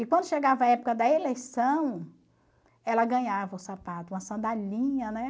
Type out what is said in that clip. E quando chegava a época da eleição, ela ganhava o sapato, uma sandalinha, né?